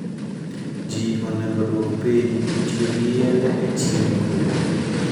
Jii onego oduok piny tiyo gi yedhe e chiemb gwen